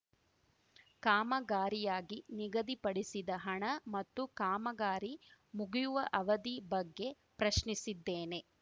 ಕಾಮಗಾರಿಯಾಗಿ ನಿಗದಿಪಡಿಸಿದ ಹಣ ಮತ್ತು ಕಾಮಗಾರಿ ಮುಗಿಯವ ಅವಧಿ ಬಗ್ಗೆ ಪ್ರಶ್ನಿಸಿದ್ದೇನೆ